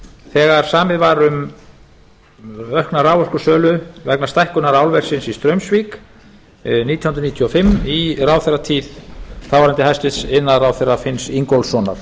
þegar samið var um aukna raforkusölu vegna stækkunar álversins í straumsvík nítján hundruð níutíu og fimm í ráðherratíð þáv hæstvirtur iðnaðarráðherra finns ingólfssonar